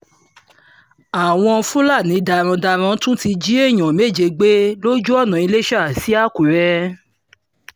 àwọn fúlàní darandaran tún ti jí èèyàn méje gbé lójú ọ̀nà ìlèṣá sí àkùrẹ́